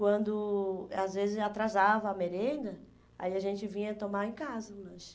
Quando, às vezes, atrasava a merenda, aí a gente vinha tomar em casa o lanche.